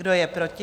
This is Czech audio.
Kdo je proti?